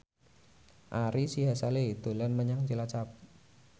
Ari Sihasale dolan menyang Cilacap